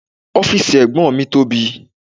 Ọ́fìsì ẹ̀gbọ́n mi tóbi